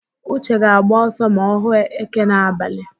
Uche ga-agba ọsọ ma ọ hụ éké n'abalị.